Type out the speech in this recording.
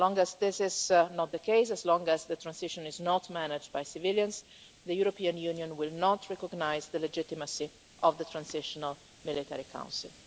As long as this is not the case, as long as the transition is not managed by civilians, the European Union will not recognise the legitimacy of the transitional military council.